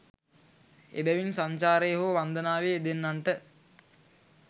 එබැවින් සංචාරයේ හෝ වන්දනාවේ යෙදෙන්නන්ට